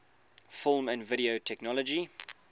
film and video technology